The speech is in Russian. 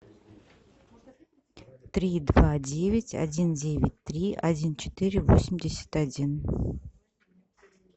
три два девять один девять три один четыре восемьдесят один